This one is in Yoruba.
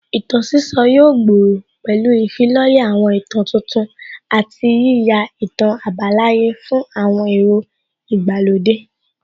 Ìtàn sísọ yóò gbòòrò pẹ̀lú ìfilọ́lẹ̀ àwọn ìtàn tuntun àti yíyá ìtàn àbálàyé fún àwọn èrò ìgbàlódé